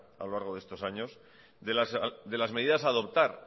a lo largo de estos años de las medidas a adoptar